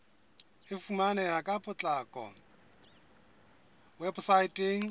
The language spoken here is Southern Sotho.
e fumaneha ka potlako weposaeteng